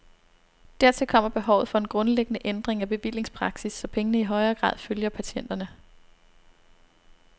Dertil kommer behovet for en grundlæggende ændring af bevillingspraksis, så pengene i højere grad følger patienterne.